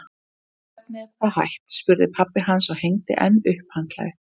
Hvernig er það hægt? spurði pabbi hans og hengdi enn upp handklæði.